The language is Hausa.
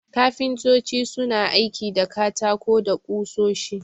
Kafintoci suna aiki da katako da ƙusoshi.